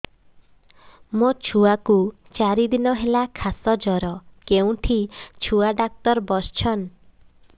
ମୋ ଛୁଆ କୁ ଚାରି ଦିନ ହେଲା ଖାସ ଜର କେଉଁଠି ଛୁଆ ଡାକ୍ତର ଵସ୍ଛନ୍